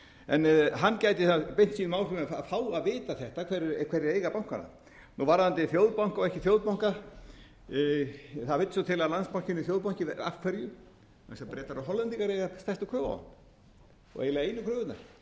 en hann gæti beitt sínum áhrifum að fá að vita þetta hverjir eiga bankana varðandi þjóðbanka og ekki þjóðbanka það vill svo til að landsbankinn er þjóðbanki af hverju vegna þess að bretar og hollendingar eiga stærstu kröfu á hann og eiginlega einu kröfurnar fyrir utan